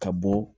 Ka bɔ